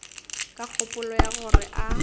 ka kgopolo ya gore a